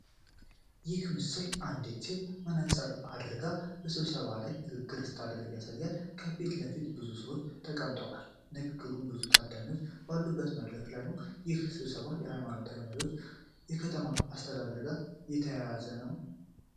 ይህ ምስል አንዲት ሴት መነፅር አድርጋ በስብሰባ ላይ ንግግር ስታደርግ ያሳያል። ከፊት ለፊቷ ብዙ ሰዎች ተቀምጠዋል፣ ንግግሩም ብዙ ታዳሚዎች ባሉበት መድረክ ላይ ነው። ይህ ስብሰባ ከሃይማኖታዊ መሪዎችና የከተማ አስተዳደር ጋር የተያያዘ ነውን?